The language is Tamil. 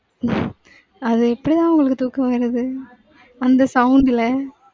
அது எப்படி தான் அவங்களுக்கு தூக்கம் வருது. அந்த sound ல.